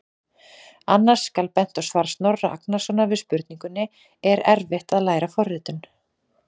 Annars skal bent á svar Snorra Agnarsson við spurningunni: Er erfitt að læra forritun?